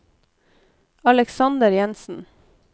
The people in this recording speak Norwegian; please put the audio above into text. Alexander Jensen